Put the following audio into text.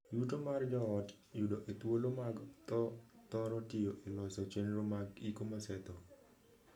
Yuto mar joot yudo e thuolo mag thoo thoro tiyo e loso chenro mag iko mosethoo.